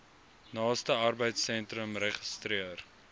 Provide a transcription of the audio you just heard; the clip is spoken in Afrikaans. naaste arbeidsentrum registreer